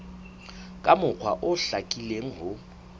ka mokgwa o hlakileng ho